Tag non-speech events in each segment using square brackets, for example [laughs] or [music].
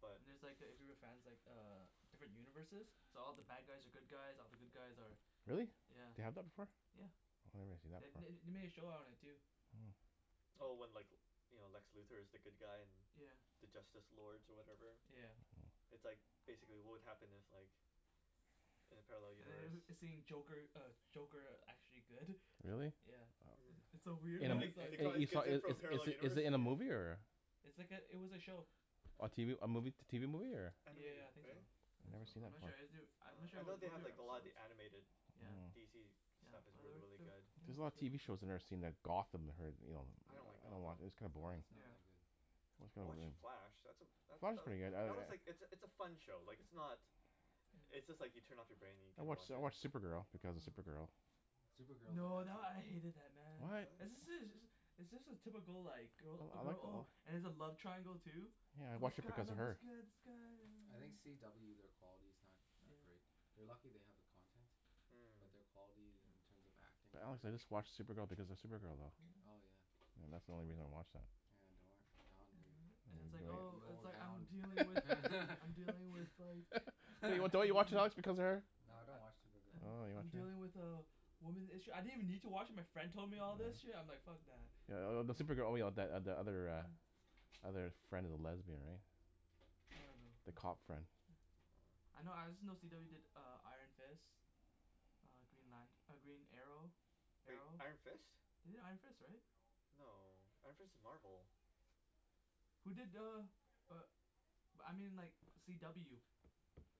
but And there's like if you were fans like uh different universes so all the bad guys are good guys, all the good guys are Really yeah, they have the before yeah Oh I never seen that The- part they they made a show on it too Hmm Oh when like you know Lex Luthor is the good guy and yeah the Justice Lords or whatever yeah It's like basically what would happen if like in a parallel And universe the- then seeing Joker uh Joker actually good Really? [laughs] yeah Hmm wow It's so and weird [laughs] then In they its they like call these is kids in is from a parallel is is universe it in a yeah movie or It's like it- it was a show A tv a movie t- tv movie or Yeah Animated yeah I think so right? I I think never so seen I'm that not before sure I'm Oh not sure I if it know was they a have movie or an like a lot of episode the animated yeah Hmm DC yeah stuff is well really they really they were good There's a it was lot of good tv shows I never seen like yeah Gotham that I heard you know I don't like I don't watc- Gotham it's kinda oh boring it's not yeah that good I watch The [inaudible] Flash that's a that Flash is that pretty good I I that was like it's a it's a I fun show like it's not It's just like you turn off your brain and you I can watch watch I it watch yeah Supergirl because of Supergirl Supergirl is a No good that show I hated that man What? right [inaudible] It's just a typical like I girl I like girl it oh all and there's a love triangle too Yeah I watch this it Oh guy I because of love this her guy this guy I oh think oh CW their quality's not that yeah great They're lucky they have the content Hmm but their quality in yeah terms of acting But and honestly everything I watch Supergirl because of Supergirl though oh yeah yeah Yeah that's the only yeah reason I watch that yeah [inaudible] [inaudible] and it's I like enjoy it oh the it's old like I'm hound dealing with [laughs] [laughs] I'm dealing with like Don't don't you watch Ooh [inaudible] [laughs] because of her? I No I don't watch Supergirl Oh I [noise] I'm you dealing don't watch it with a woman's issue, I didn't even need to watch it my friend told me all this Hmm shit and I'm like fuck that Yeah th- the Supergirl only the the other uh other friend of the lesbian right I don't know the yeah cop friend [noise] I know I just know CW did uh Iron Fist Uh Green Lant- Green Arrow Wait Arrow. Iron Fist? They did Iron Fist right? No, Iron Fist is Marvel Who did uh uh but I mean like CW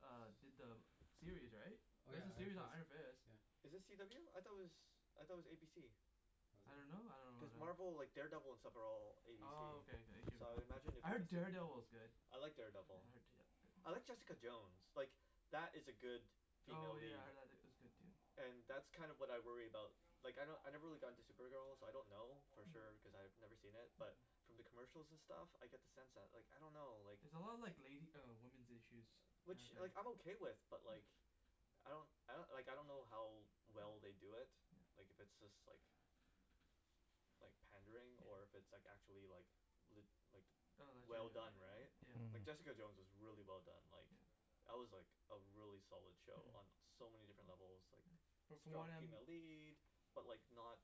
uh did the uh series right oh yeah there's a Iron series on Fist Iron Fist yeah Is it CW? I though it was I thought it was ABC. was I it don't know I Cuz don't know wh- Marvel like Daredevil and stuff are all ABC Oh okay okay so I imagine [inaudible] it I would be heard the same thing Daredevil is good I like yeah Daredevil I heard Da- I heard De- Jessica Jones like that is a good female Oh yeah lead I heard tha- that was good too and that's kinda what I worry about like I kno- I never really got into Supergirl so I don't know for Hmm sure cause I've never seen it but Hmm from the commercial and stuff I get the sense that like I don't know It's a lot of like lady uh women's issues uh which kinda like I'm thing okay with but like Mm I don't I like I don't know how well they do it like if it's just like like pandering or yeah if it's like actually like lit- like Oh well legitimate done right yeah yeah, yeah like Jessica Jones Hmm is really well done like yeah That was like a really solid show Mm on so many different levels like But from strong what I'm female lead but like not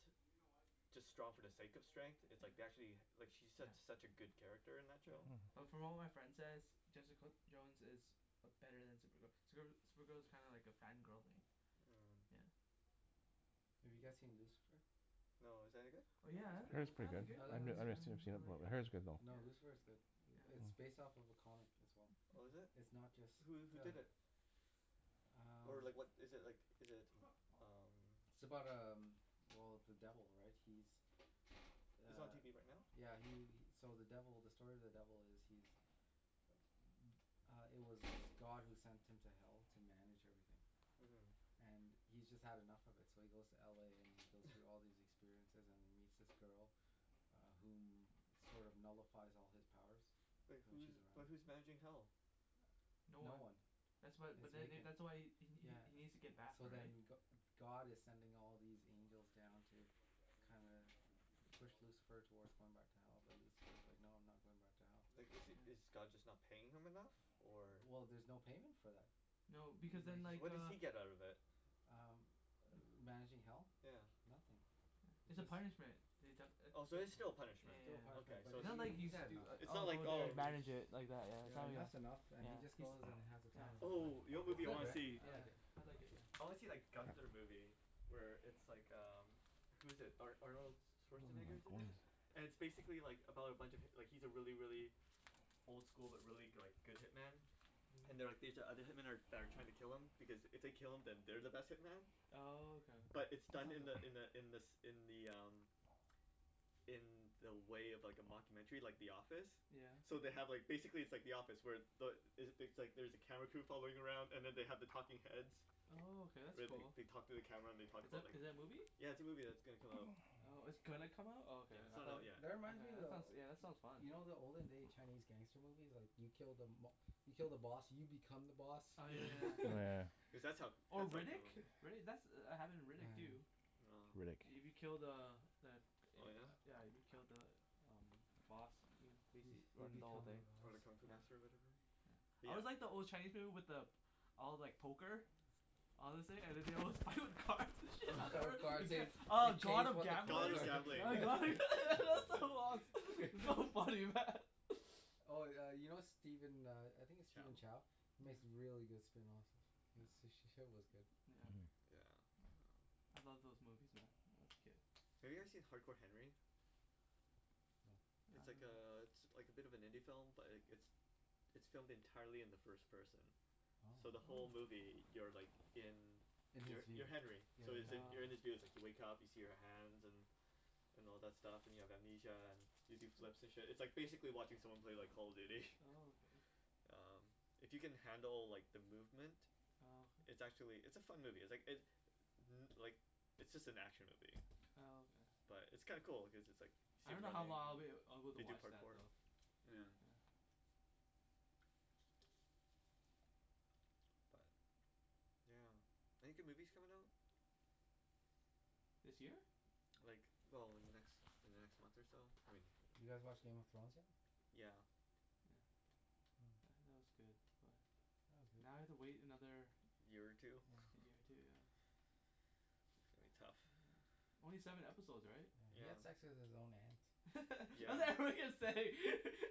just strong for the sake of strength it's yeah, like they actually like she's su- yeah, such a good character in that yeah show Mm But from what my friend says Jessica Jones is uh better then Supergirl, Supergirl Supergirl is kinda like a fan girl thing Hmm yeah Have you guys seen Lucifer? No, is that any good? Oh yeah I It's I pretty heard it's good, I I pretty good like it I I I I like like it yeah never Lucifer seen it yeah before I like but I heard it's good though No yeah Lucifer's good It- yeah it's based off a comic as well Oh is it? It's not just Who who the did it? Or um like what is it like is it t- umm It's about um well the devil right he's Is it on uh tv right now? yeah he he so the devil the story of the devil is he's m- uh it was God who sent him to hell to manage everything uh-huh and he's just had enough of it so he goes to LA and he goes through [laughs] all these experiences and he meets this girl uh whom sort of nullifies all his powers Wait when she's who's but around who's managing hell? No no one one That's why it's but then vacant that's why he he yeah he needs to get back So right then Go- God is sending all these angels down to kinda push Lucifer towards going back to hell but Lucifer is like no I'm not going back to hell Like is is yeah God just not paying him enough? Or? Well there's no payment for that No because then [noise] So like what does uh he get out of it? um ma- managing hell? yeah Nothing yeah it's a it's punishment they def- it Oh so it it's still a yeah yeah punishment, yeah yeah yeah okay but so It's it's he not he like he's he's had doi- enough It's uh not I'll like go there and oh he- manage it like that yeah yeah and it that's enough and yeah he just goes and has the yeah he's oh yeah time of yeah his life. Oh you know what It's movie I good wanna right see? yeah, I yeah like it I like it yeah I wanna see that Gunther movie Where it's like um Who's it Ar- Arnold Oh my Schwarzenegger's in it goodness [laughs] And it's basically like about a bunch of hip- like he's a really really old school but really like go- good hitman Hmm and they're like these other hitman that that are like trying to kill him because it they kill him then they're the best hitman Oh okay But it's done in the [inaudible] in the in the in the um In the way of like a mocumentary like The Office yeah So they have like basically it's like The Office where the is it things like there's a camera crew following around and they have the talking heads Oh okay that's Where they cool they talk to the camera and they talk Is about like is it a movie? Yeah it's a movie that's gonna come out Oh it's gonna come out oh Yeah okay it's I not out though, tha- yet that reminds okay me that sounds of- that sounds fun you know the olden day Chinese gangster movie's like you kill the mob- you kill the boss and you become the boss oh yeah Yeah Oh yeah yeah yeah [laughs] cuz that's how Oh that's how Riddick? crimi- [laughs] Riddick that's happened in Riddick oh yeah too No Riddick. You be killed the uh the uh Oh yeah? yeah you killed the um boss you hmm uh-huh bas- you run the whole become the thing Oh boss the kung fu yeah master of whatever? yeah But I yeah always like the old Chinese people with the all like poker all this thing and then they [laughs] [inaudible] with cars and Oh [laughs] [laughs] shit, it gets [inaudible] oh God of Gambles [inaudible] yeah [inaudible] that [laughs] [laughs] that's so [inaudible] lost, so funny man [laughs] [laughs] oh yeah you know Steven uh I think its Chow Steven Chow makes really good spring rolls h- he's sh- shit was good yeah Yeah oh I love those movies man when I was a kid Have you guys seen Hard Core Henry? Mm uh It's I like don't know uh it's like a bit of an indie film but like it's it's filmed entirely in the first person so the oh whole Oh movie you're like in in his you're you're view Henry yeah so yo- you're in um his oh [inaudible] you wake up see your hands and and all that stuff and you have amnesia and you do flips and shit it's like basically watching someone play like Call of Duty oh okay Umm If you can handle like the movement oh okay it's actually it's a fun movie it's like it uh-huh like it's just an action movie oh okay but it's kinda cool like cause it's just like I you see him don't know how running lo- long I'd be able to they do watch that parkour though [noise] yeah yeah [noise] but yeah Any good movies coming out? [noise] this year? Like well in the next in the next month or so I mean Did you guys watch Game of Thrones yet? yeah yeah yeah that was good but [noise] Now I have to wait another year or two year or [laughs] two yeah It's gonna be tough only seven episode right? yeah he had yeah sex with his own aunt [laughs] I was yeah like what are you gonna say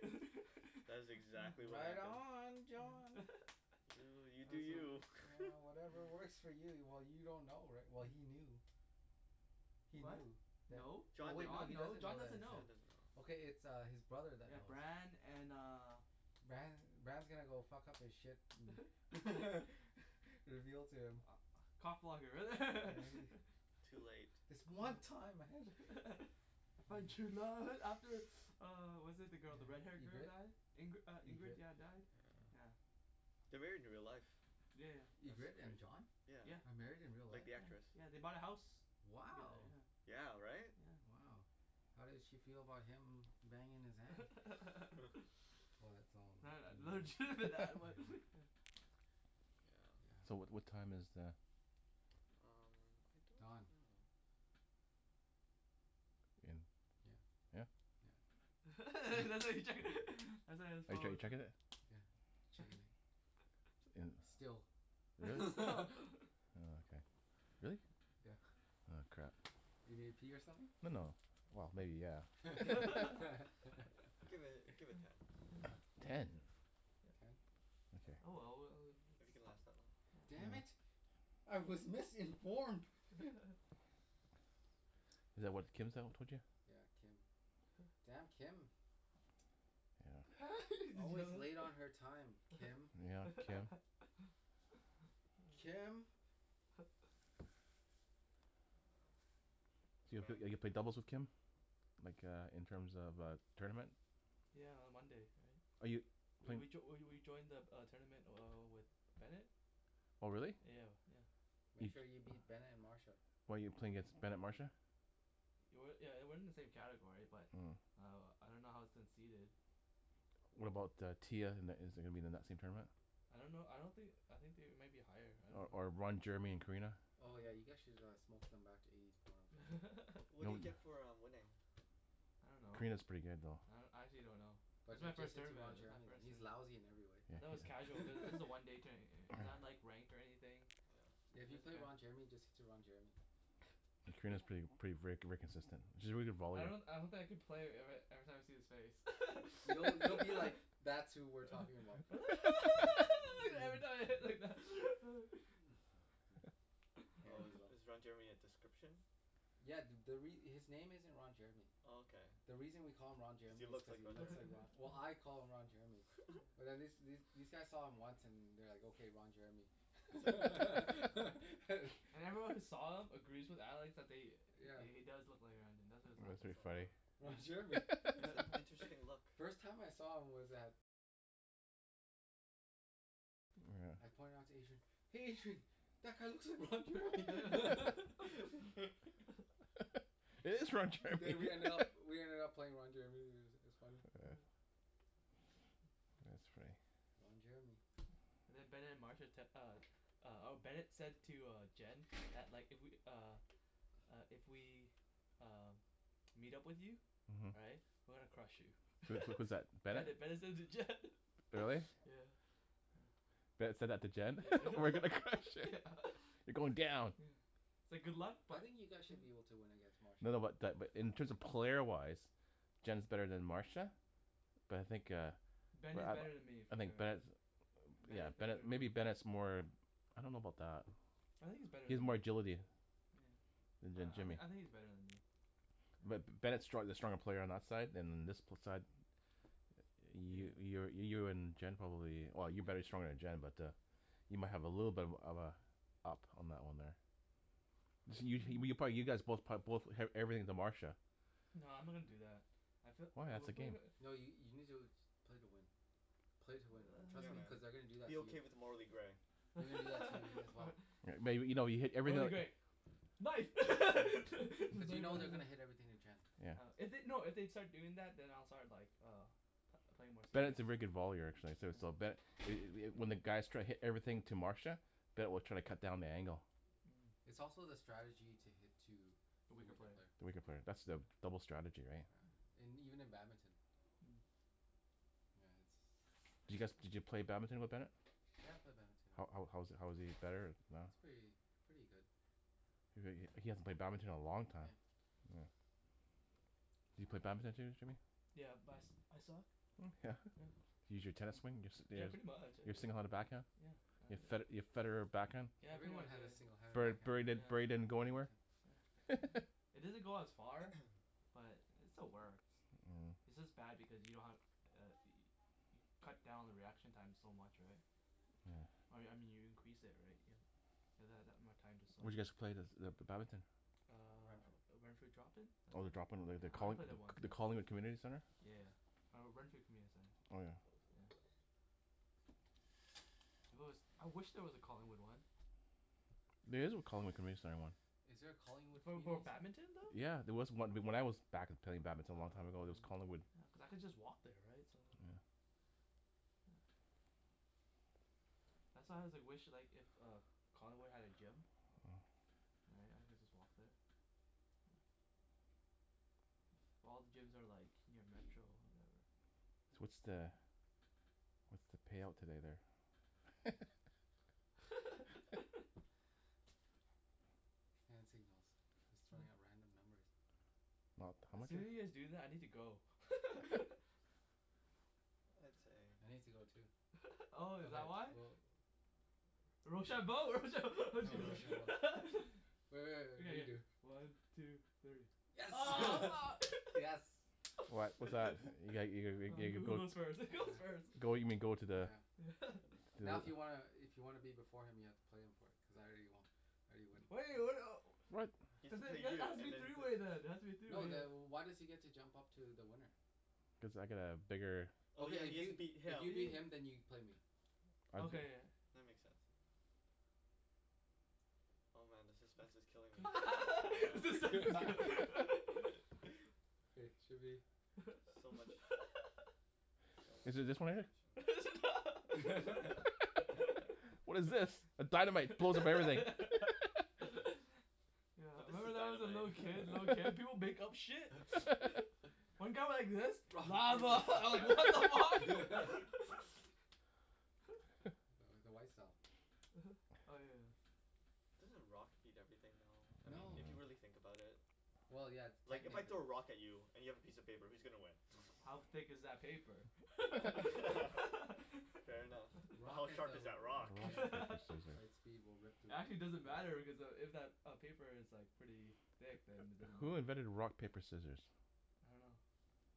[laughs] That is exactly what right happened on yeah [laughs] John that Oh you do was fun you yeah [laughs] whatever works for you well you don't know righ- well he knew he what? knew tha- no, oh John wait didn't John he no doesn't know John that doesn't John yet doesn't know know Okay it's his brother that yeah knows Bran and uh Bran Bran is gonna go fuck up his shit [laughs] [laughs] you're guiltier ah cock yeah blocker he Too late [laughs] This one time I [laughs] [laughs] I found true love [laughs] after [noise] [noise] uh was it the girl the red hair yeah girl Ingrid die Ingri- Ingrid Ingrid yeah died [noise] yeah They're married in real life Yeah yeah That's Ingrid and crazy, John yeah yeah are married in real Like life? the yeah actress yeah they bought a house together wow yeah Yeah right yeah wow how did she feel about him banging his aunt? [laughs] [laughs] [inaudible] [inaudible] that was [noise] [laughs] yeah so yeah what what time is the [noise] hmm I don't Don know In, yeah yeah yeah Hmm [laughs] [laughs] [inaudible] his Are you chec- phone checking it? yeah [inaudible] [noise] still There [laughs] is stop [laughs] Oh okay, really? yeah Oh crap you need to pee or something? No no well No maybe [laughs] yeah yeah [laughs] [laughs] Give it [noise] give it ten Ten? yeah you can Ten oh okay yeah, well we if you uh can last that long damn yeah Mm it I was missing [inaudible] [laughs] [laughs] [noise] Is that what Kim yeah [inaudible] yeah Kim huh damn Kim yeah [laughs] did you always know late on that? her time Kim yeah Kim [laughs] oh Kim [laughs] [noise] So you eve- Demand ever played doubles with Kim? Like uh in terms of uh tournament yeah on Monday right Are you, we playin- we joi- we we we joined the the uh tournament uh with Bennet Oh really yeah yeah Make bef- sure you beat Bennet and Marsha why you playing against Bennet Marsha It wa- yeah it wasn't in the same category but uh I don't know how its seated What about uh Tia in in is it gonna be in the same tournament? I don't know I don't thin- I think they might be higher I Or don't or Ron know Jeremy and Karina Oh yeah you oh guys should uh smoke them back to eighties porno. What No do you one get [laughs] for uh winning? I don't know Karina's pretty good though I do- I actually don' know This But is my ju- just first hit to tournament Ron this is my Jeremy first he's tournament lousy in every I though it was [laughs] casual cuz this way [laughs] a one day tou- tou- it's not ranked or anything yeah yeah Like if you there's a play Ron Jeremy just [inaudible] hit to Ron Jeremy [noise] Karina's prett- [laughs] pretty ver- very consistent she's a very good I volleyball pla- don- I don't think I can play ever- every time I see his face You- you'll be like [laughs] [laughs] that's who we're talking about uh [laughs] [laughs] [laughs] [inaudible] [laughs] [laughs] yeah Oh is you will [laughs] is Ron Jeremy a description? yeah th- the re- his name isn't Ron Jeremy Oh okay the reason we call him Ron if you Jeremy is look cuz like he Ron looks Jeremy like Ro- well I [laughs] call him Ron Jeremy yeah But wh- these these guys saw him once and they're like okay Ron Jeremy It's like [laughs] [laughs] [laughs] harsh And everyone who saw him agrees with Alex that they yeah he he does look like Ron Je- that's why he was That's laughing pretty funny Oh Ron yeah Jeremy It's an interesting look [laughs] [laughs] First time I saw him was at I pointed it out to Adrian "hey Adrian" That guy looks like Ron Jeremy [laughs] [laughs] [laughs] But we ended up [laughs] we ended up playing Ron Jeremy i- it was funny uh [noise] yeah that's funny Ron Jeremy yeah and then Bennet and Marsha tec- uh uh or Bennet said to uh Jen that like if we uh uh if we um meet up with you right uh-huh we're gonna crush you so was that was that [laughs] Bennet? Bennet Bennet said it to Jen Really? [laughs] yeah yeah Bennet said that to Jen yeah [laughs] we're gonna crush [laughs] yeah it, [laughs] you're going down yeah It's like good luck i- I but think you yeah guys should be able to win against No Marsha no but that in terms of player wise Jen's better then Marsha But I think uh But Bennet's better then me eh I for think sure Bennet's Ben yeah is better Bennet then maybe me Bennet's more I don't know about that I think he's better He has then more me, oh agility yeah Then then I I Jimmy think he's better then me But yeah Bennet's strong- the stronger player on our side and uh this side You you yeah you're you're in Jen probably well you're better yeah stronger then Jen but uh You might have a little bit of uh of uh up on that one there this you you probably you guys both prob- both eve- everything to Marsha No I'm not gonna do that I fee- Why uh that's we the game pla- No you you need to play to win play to win man trust Yeah me man, [noise] cuz they gonna do that be to you okay with the morally gray [laughs] [inaudible] May- maybe you know you hit morally everything gray nice [laughs] to But you know they're to gonna hit [inaudible] everything to Jen yeah If they- no if they'd start doing that then I'll start like uh pl- playing more serious Bennet's a very good volleyer actually so so yeah but it it when the guys try to hit everything to Marsha Ben will try to cut down the angle Hmm But it's also the strategy to hit to the the weaker weaker player player the weaker player that's the yeah double strategy right yeah yeah and even in badminton Mm Does you guys did you play badminton with Bennet? yeah I play badminton How how how was he how was he better or not He's pretty pretty good He he hasn't played badminton in a long time yeah Hmm Do you play badminton Jim- Jimmy Yeah but I su- I suck yeah yeah Can you use your tennis swing yeah pretty much I your single handed back hand uh yeah Your Fed- I Your Federer back hand yeah pretty Everyone much had a yeah singled handed Bur Bur backhand Burry Burry yeah didn't go anywhere yeah [laughs] it doesn't go as far [noise] but it still works Hum its just bad because you don't have uh yo- you cut down the reaction time so much right yeah Or I me- mean you increase it right you you have that that more time to Where swing did you guys play the the badminton Ren- Uh Renfrew drop-in that's Oh the it drop in the yeah the I only Colling- played there once the yeah Collingwood Community Centre yeah yeah [noise] or Renfrew Community I'm Oh gonna yeah close the Centre window If there wa- I wish there was a Collingwood one There is a Collingwood Community Center one Is there a Collingwood For bad- Community Centre? badminton though? Yeah there was on- when I was back play- playing badminton a long time ago Oh there was Collingwood okay yeah cause I could just walk there right so then there yeah yeah that's how why I [noise] wish like if uh Collingwood had a gym Hmm yeah I could just walk there yeah well all the gyms are like near metro or whatever Wa- what's the what's the payout today there? [laughs] [laughs] [inaudible] I'm just throwing hmm out random numbers Not, how As much the soon as you guys do that I need to go [laughs] I'd say I need to go too [laughs] oh is okay that why? we'll Rochambeau, rochambeau. Oh [laughs] rochambeau [laughs] Re- re- okay re- yeah yeah redo one two three oh [laughs] mar yes [laughs] What [noise] what's that? you ga [laughs] you oh ga ga who who go goes first [laughs] who goes first yeah go you mean go to the yeah yeah [laughs] to the Now if you wanna i- if you wanna be before him you have to play him for it because I already wo- I already win [inaudible] [inaudible] He has cuz to play there then it you has to and be then three play way then it has to be a three No way then wh- yeah why does he get to jump up to the winner cuz I got a bigger Oh yeah okay if he has to beat if you him beat him then you can play me I okay go- yeah yeah That makes sense Oh man the suspense is killing me [laughs] ah the suspense [laughs] [laughs] okay should be So much So much Is [laughs] it just one in there [laughs] [inaudible] it's a not [laughs] What is this, [laughs] a dynamite it blows up everything [laughs] [laughs] [laughs] No yeah this is remember that when I was a dynamite little kid little kid [laughs] people make up shit [laughs] one got like this lava [laughs] I was like what the fuck [laughs] [laughs] [laughs] [laughs] no th- the white style uh-huh oh yeah Doesn't rock beat everything though I I mean No if you don't really think know about it well yeah like if I yeah technically throw a rock at you and you have a piece of paper who's gonna win? How thick is that paper [laughs] [laughs] fair enough How rock hit sharp the is ro- that rock? yeah rock, paper, the [laughs] right scissor speed will rip through it, Actually because doesn't matter because uh if if that paper is pretty thick then it doesn't Who matter invented rock yeah paper scissors? I don't know [noise]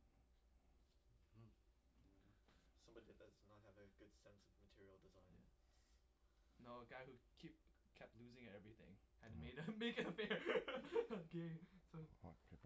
uh-huh [noise] I don't know Somebody did this does not have a good sense of material design yeah No a guy who keep kep- kept losing at everything had to made uh Oh make it fair [laughs] game so [inaudible]